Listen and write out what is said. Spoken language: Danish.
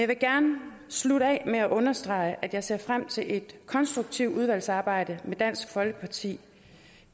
vil gerne slutte af med at understrege at jeg ser frem til et konstruktivt samarbejde med dansk folkeparti